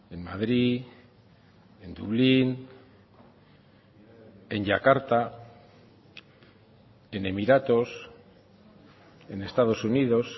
en madrid en dublín en yakarta en emiratos en estados unidos